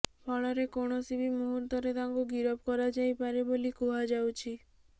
ଫଳରେ କୌଣସି ବି ମୁହୂର୍ତ୍ତରେ ତାଙ୍କୁ ଗିରଫ କରାଯାଇପାରେ ବୋଲି କୁହାଯାଉଛି